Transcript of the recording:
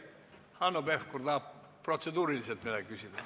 Hanno Pevkur tahab protseduuri kohta midagi küsida.